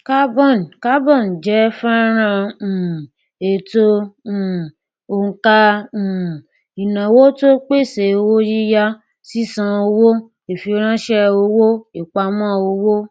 carbon carbon jẹ fọnrán um ètò um òǹkà um ìnáwó tó pèsè owó yíyá sísan owó ìfiránṣẹ owó ìpamọ owó